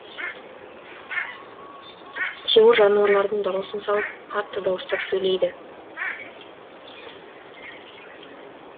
тимур жануарлардың дауысын салып қатты дауыстап сөйлейді